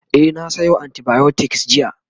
e na Sayo antibiotics jiya